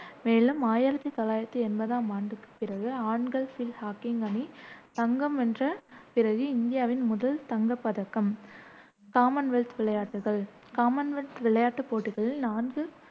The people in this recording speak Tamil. மேலும் ஆயிரத்தி தொள்ளாயிரத்தி எண்பதாம் ஆண்டுக்கு பிறகு ஆண்கள் பீல்ட் ஹாக்கி அணி தங்கம் வென்ற பிறகு இந்தியாவின் முதல் தங்கப்பதக்கம் காமன்வெல்த் விளையாட்டுகள் காமன்வெல்த் விளையாட்டுப் போட்டிகளில் நான்கு